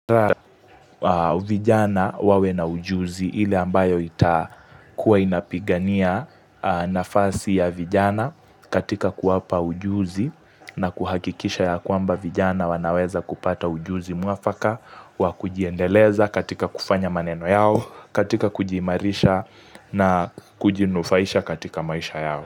Vijana wawe na ujuzi ile ambayo itakuwa inapigania nafasi ya vijana katika kuwapa ujuzi na kuhakikisha ya kwamba vijana wanaweza kupata ujuzi mwafaka wa kujiendeleza katika kufanya maneno yao katika kujiimarisha na kujinufaisha katika maisha yao.